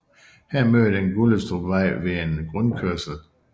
Her møder den Gullestrupvej ved en rundkørsel